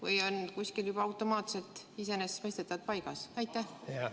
Või on see kuskil juba automaatselt iseenesestmõistetavalt paigas?